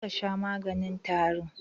Ka je kasha maganin tarin